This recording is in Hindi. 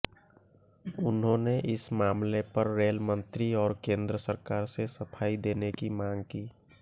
उन्होंने इस मामले पर रेल मंत्री और केंद्र सरकार से सफाई देने की मांग की